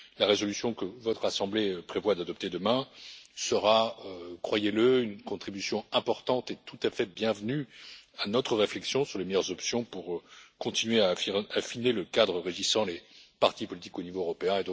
La résolution que votre assemblée prévoit d'adopter demain sera une contribution importante et tout à fait bienvenue à notre réflexion sur les meilleures options pour continuer à affiner le cadre régissant les partis politiques au niveau européen.